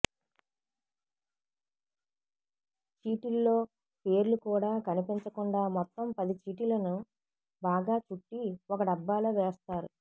చీటిల్లో పేర్లు కూడా కనిపించకుండా మొత్తం పది చీటిలను బాగా చుట్టి ఒక డబ్బాలో వేస్తారు